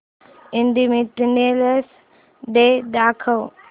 independence Day दाखव